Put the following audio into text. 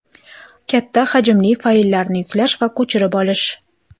Katta hajmli fayllarni yuklash va ko‘chirib olish .